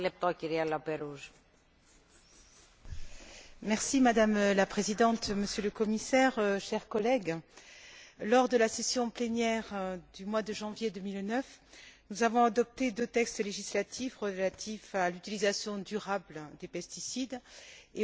Madame la Présidente, Monsieur le Commissaire, chers collègues, lors de la session plénière du mois de janvier 2009, nous avons adopté deux textes législatifs relatifs à l'utilisation durable des pesticides et aux procédures de mise sur le marché des produits phytopharmaceutiques.